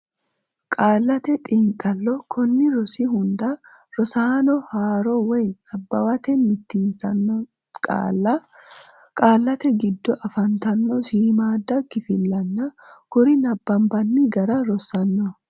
Qaallate Xiinxallo Konni rosi hunda rosaano haaro woy nabbawate mitiinsitanno qaalla, qaallate giddo afantanno shiimmaadda kifillanna kuri nabbanbanni gara rossanno.